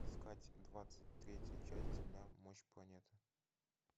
искать двадцать третья часть земля мощь планеты